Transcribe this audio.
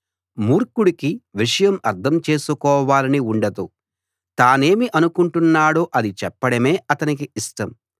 మూర్ఖుడికి విషయం అర్థం చేసుకోవాలని ఉండదు తానేమి అనుకుంటున్నాడో అది చెప్పడమే అతనికి ఇష్టం